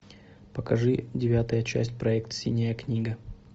покажи девятая часть проект синяя книга